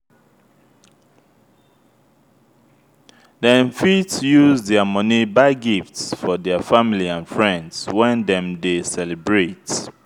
dem fit use their money buy gifts for their family and friends when dem de celebrate